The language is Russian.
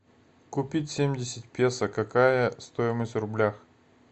купить семьдесят песо какая стоимость в рублях